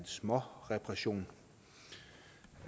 småreparationer